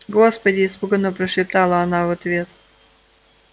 господи испуганно прошептала она в ответ